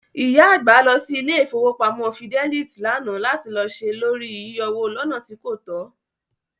ìyá àgbà lọ sí ilé Ìfowópamọ́ Fidelit lánàá lati lọ ṣe lóri yíyọwó lọ́nà tí kòtó.